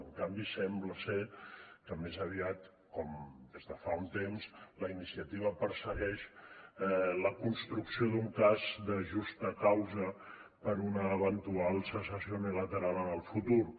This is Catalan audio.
en canvi sembla ser que més aviat com des de fa un temps la iniciativa persegueix la construcció d’un cas de justa causa per una eventual secessió unilateral en el futur